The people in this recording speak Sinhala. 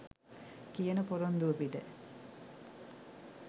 කියන පොරොන්දුව පිට.